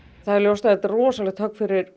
það er ljóst að þetta er rosalegt högg fyrir